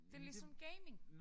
Det ligesom gaming